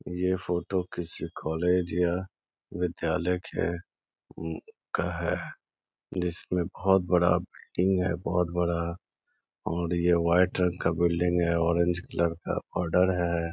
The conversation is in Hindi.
ये फोटो किसी कॉलेज या विद्यालय के म का है जिसमें बहुत बड़ा बिल्डिंग है बहुत बड़ा और ये व्हाइट रंग का बिल्डिंग हैंऑरेंज कलर का आर्डर है।